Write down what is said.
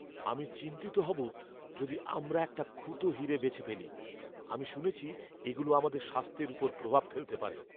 আমি চিন্তিত হব যদি আমরা একটা খুঁতো হীরে বেছে ফেলি। আমি শুনেছি এগুলো আমাদের স্বাস্থ্যের উপর প্রভাব ফেলতে পারে।